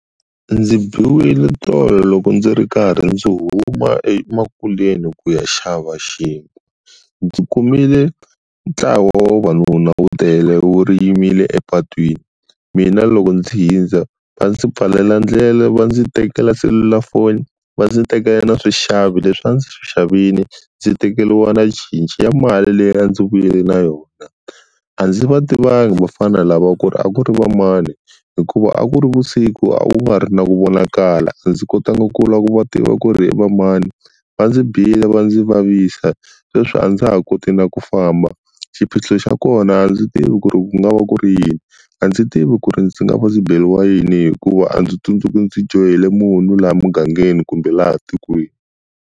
Ndzi biwile tolo loko ndzi ri karhi ndzi huma emakuleni ku ya xava xinkwa. Ndzi kumile ntlawa wa vavanuna wu tele wu yimile epatwini, mina loko ndzi hindza va ndzi pfalela ndlela va ndzi tekela selulafoni, va ndzi tekala na swixavi leswi a ndzi swi xavini, ndzi tekeriwa na cinci ya mali leyi a ndzi vuye na yona. A ndzi va tivanga vafana lava ku ri a ku ri va mani hikuva a ku ri vusiku a ku nga ri na ku vonakala, a ndzi kotanga ku la ku va tiva ku ri i va mani. Va ndzi bile va ndzi vavisa, sweswi a ndza ha koti na ku famba. Xiphiqo xa kona a ndzi tivi ku ri ku nga va ku ri yini, a ndzi tivi ku ri ndzi nga va ndzi beriwa yini hikuva a ndzi tsundzuki ndzi dyohele munhu laha mugangeni kumbe laha tikweni.